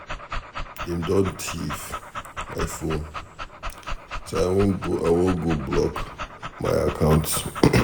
Dey don thief my phone so I wan go block my accounts.